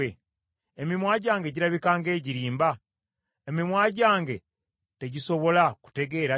Emimwa gyange girabika ng’egirimba? Emimwa gyange tegisobola kutegeera ttima?”